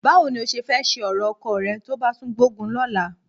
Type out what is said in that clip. Báwo ni o ṣe fẹ́ ṣe ọ̀rọ̀ ọkọ rẹ tó bá tún gbógun lọ́la?